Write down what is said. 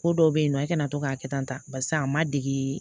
Ko dɔw bɛ yen nɔ e kana to k'a kɛ tan barisa a ma dege